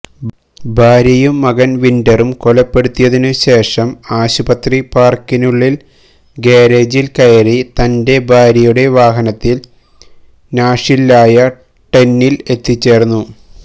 ഭാര്യയും മകൻ വിൻഡ്രറും കൊലപ്പെടുത്തിയതിനു ശേഷം ആശുപത്രി പാർക്കിനുള്ളിൽ ഗാരേജിൽ കയറി തന്റെ ഭാര്യയുടെ വാഹനത്തിൽ നാഷ്വില്ലായ ടെനിൽ എത്തിച്ചേർന്നു